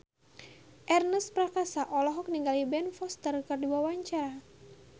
Ernest Prakasa olohok ningali Ben Foster keur diwawancara